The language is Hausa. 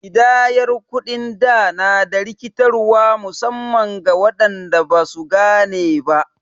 Ƙidayar kuɗin da na da rikitarwa musamman ga waɗanda ba su gane ba.